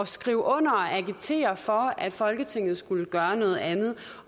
skrive under og agitere for at folketinget skulle gøre noget andet